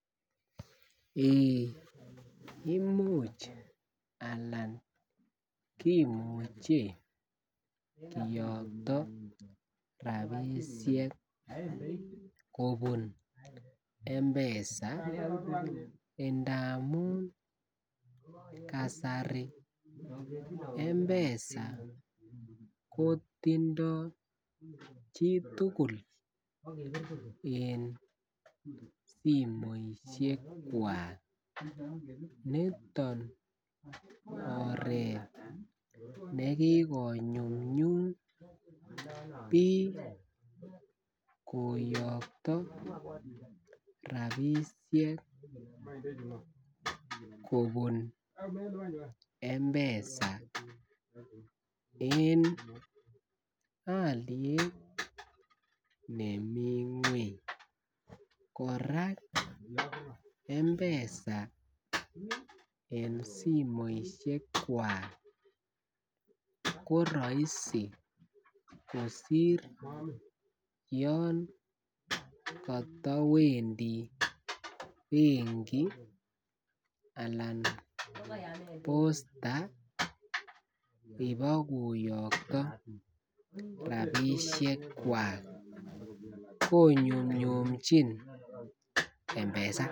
Eeeh Imuch alan kimuche kiyokto rabisiek kobun m-pesa indamun kasari m-pesa kotindo chitugul eng simoisiekwak niton oret nekikonyumyum bik koyokto rabisiek kobun m-pesa eng oliet nemi ngwony korak m-pesa eng simoisiekwak ko roisi kosir yon kotowendi benki anan posta ibokoyokto rabisiekwak konyumnyumjin m-pesa.